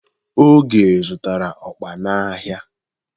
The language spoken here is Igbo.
Oge zụta okpor n'ahịa.